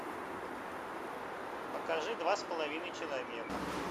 покажи два с половиной человека